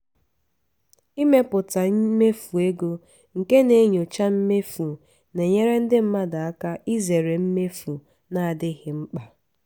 ịmepụta mmefu ego nke na-enyocha mmefu na-enyere ndị mmadụ aka izere mmefu na-adịghị mkpa.